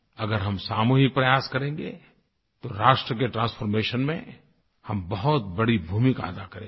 अगर हम सामूहिक प्रयास करेंगे तो राष्ट्र के ट्रांसफॉर्मेशन में हम बहुत बड़ी भूमिका अदा करेंगे